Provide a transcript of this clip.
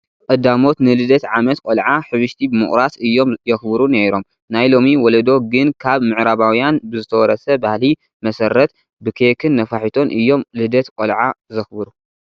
ቀዳሞት ንልደት ዓመት ቆልዓ ሕብሽቲ ብምቑራስ እዮም የኽብሩ ነይሮም፡፡ ናይ ሎሚ ወለዶ ግን ካብ ምዕራባውያን ብዝተወረሰ ባህሊ መሰረት ብኬክን ነፋሒቶን እዮም ልደት ቆልዓ ዘኽብሩ፡፡